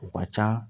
U ka ca